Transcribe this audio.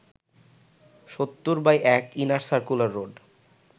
৭০/১ inner circular road